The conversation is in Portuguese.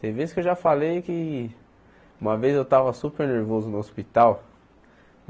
Tem vezes que eu já falei que... Uma vez eu estava super nervoso no hospital.